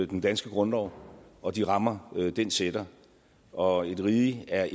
den danske grundlov og de rammer den sætter og et rige er